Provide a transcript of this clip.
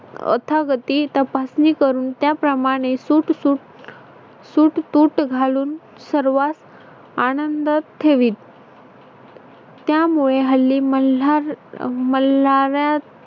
अथा गती तपासणी करून त्याप्रमाणे सूत तूट सूट तूट घालून सर्वात आनंदात ठेवीत. त्यामुळे हल्ली मल्हार मल्हारयात